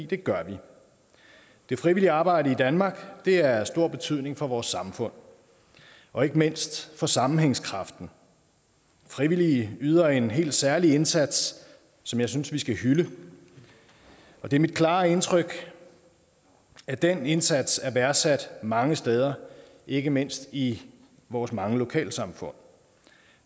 det gør vi det frivillige arbejde i danmark er af stor betydning for vores samfund og ikke mindst for sammenhængskraften frivillige yder en helt særlig indsats som jeg synes vi skal hylde det er mit klare indtryk at den indsats er værdsat mange steder ikke mindst i vores mange lokalsamfund